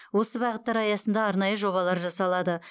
осы бағыттар аясында арнайы жобалар жасалады